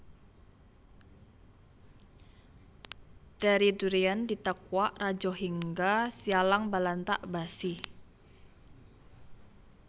Dari Durian Ditakuak Rajohingga Sialang Balantak Basi